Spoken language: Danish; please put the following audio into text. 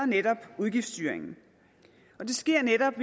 netop udgiftsstyringen og det sker netop